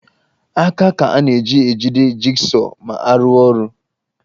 Aka ka a na-eji ejide jigsọọ ma a rụwa ọrụ